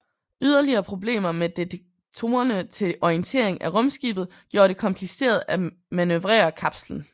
Yderligere problemer med detektorerne til orientering af rumskibet gjorde det kompliceret at manøvrere kapslen